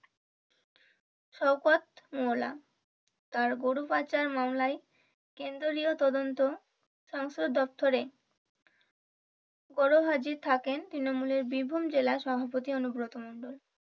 শওকত মোলা তার গরু পাচার মামলায় কেন্দ্রীয় তদন্ত সংসদ দপ্তরে গড় হাজির থাকেন তৃণমূলের বীরভূম জেলা সভাপতি অনুব্রত মন্ডল।